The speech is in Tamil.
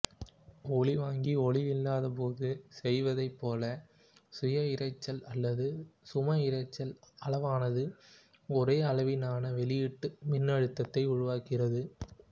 ஒலிவாங்கி ஒலியில்லாத போது செய்வதைப் போல சுயஇரைச்சல் அல்லது சம இரைச்சல் அளவானது ஒரேயளவிலான வெளியீட்டு மின்னழுத்தத்தை உருவாக்குகிறது